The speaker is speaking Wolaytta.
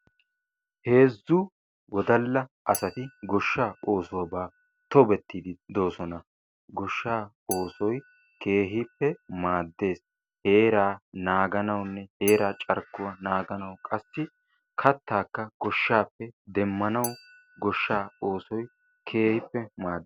Heezzu wodalla asati goshshaa oosuwaba tobetiidi de''oossona. Goshshaa oossoy keehippe maadees. heraa naaganawunne heeraa carkkuwa naganawu qassi goshshaappe kattaa demanawu maadees.